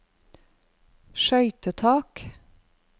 skøytetak